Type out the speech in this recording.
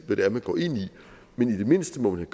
hvad det er man går ind i men i det mindste må man